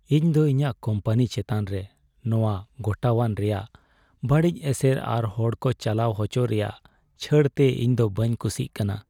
ᱤᱧ ᱫᱚ ᱤᱧᱟᱹᱜ ᱠᱳᱢᱯᱟᱱᱤ ᱪᱮᱛᱟᱱ ᱨᱮ ᱱᱚᱶᱟ ᱜᱚᱴᱟᱣᱟᱱ ᱨᱮᱭᱟᱜ ᱵᱟᱹᱲᱤᱡ ᱮᱥᱮᱨ ᱟᱨ ᱦᱚᱲ ᱠᱚ ᱪᱟᱞᱟᱣ ᱦᱚᱪᱚ ᱨᱮᱭᱟᱜ ᱪᱷᱟᱹᱲ ᱛᱮ ᱤᱧ ᱫᱚ ᱵᱟᱹᱧ ᱠᱩᱥᱤᱜ ᱠᱟᱱᱟ ᱾